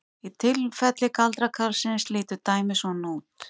Í tilfelli galdrakarlsins lítur dæmið svona út: